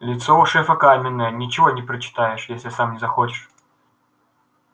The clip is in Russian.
лицо у шефа каменное ничего не прочитаешь если сам не захочешь